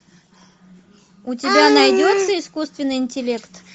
у тебя найдется искусственный интеллект